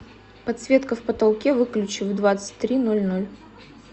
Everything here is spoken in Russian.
подсветка в потолке выключи в двадцать три ноль ноль